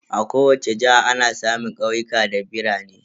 A kowace jiha ana samun ƙauyuka da birane.